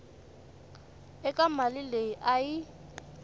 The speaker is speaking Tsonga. eka mali leyi a yi